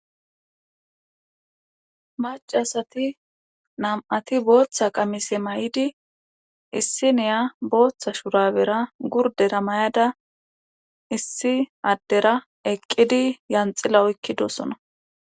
macasati nam7ati booththa qamise may7idi issiniya booththa shurabera gurdera may7ada issi addera eqqidi yanxila oykkidosona